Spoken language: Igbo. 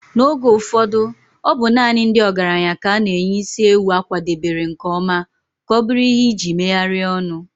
N'oge ụfọdụ, ọ bụ naanị ndị ọgaranya ka a na-enye isi ewu a kwadebere nke ọma ka ọ bụrụ ihe iji megharịa ọnụ